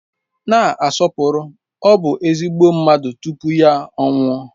Na-asọpụrụ; ọ bụ ezigbo mmadụ tupu ya anwụọ.